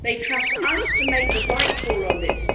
They trust us to make the right call on this.